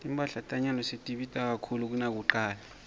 timphahla tanyalo setibita kakhulu kunakucala